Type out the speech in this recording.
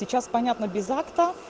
сейчас понятно безатка